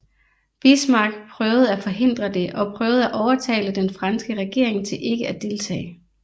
Bismarck prøvede at forhindre det og prøvede at overtale den franske regering til ikke at deltage